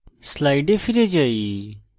slides ফিরে আসি